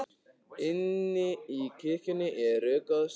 Inni í kirkjunni er rökkvað og svalt.